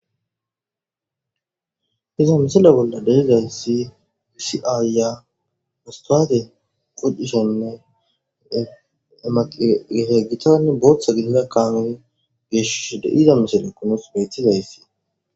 Iza misile bolla derezayssi wisi'ayya mustwaade qodishonne emaqgete gitani booththa gidida kaame geeshishi deida misele kunos miittizayssi.